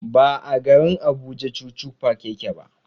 Ba a garin Abuja chuchu park yake ba.